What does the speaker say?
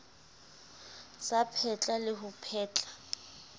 sa phetla le ho phetla